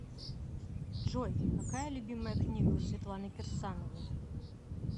джой какая любимая книга у светланы кирсановой